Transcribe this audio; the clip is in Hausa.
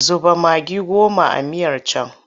Zuba magi goma a miyar can!